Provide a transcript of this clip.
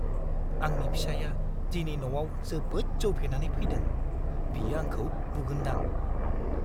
आंनि फिसाइया दिनै न'आव जोबोद जौ फेनानै फैदों। बियो आंखौ बुगोनदां।